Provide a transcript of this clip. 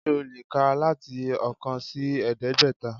Sé o lè kà láti oókan sí ẹ̀ẹ́dẹ́gbẹ̀ta